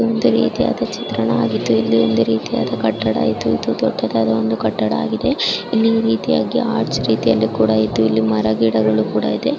ಇದು ಒಂದು ರೀತಿಯಾದ ಚಿತ್ರಣ ಆಗಿದ್ದು ಹಾಗು ಇದು ಒಂದು ರೀತಿಯಾದ ಕಟ್ಟಡ. ಇದು ಒಂದು ದೊಡ್ಡದಾದ ಕಟ್ಟಡ ಆಗಿದೆ ರೀತಿ ಇದ್ದು ಇಲ್ಲಿ ಮರ ಗಿಡ ಇದೆ .